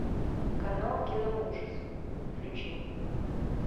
канал кино ужас включи